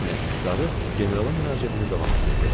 Qarı generala müraciətini davam etdirdi.